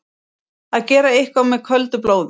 Að gera eitthvað með köldu blóði